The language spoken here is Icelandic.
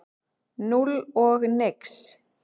Núll og nix.